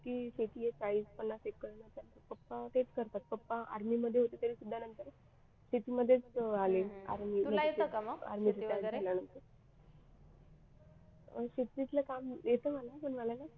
की शेती आहे चाळीस-पन्नास एकर पप्पा तेच करतात पप्पा आर्मी मध्ये होते तरीसुद्धा शेतीमध्येच आले अं शेतीतलं काम येते मला पण मला ना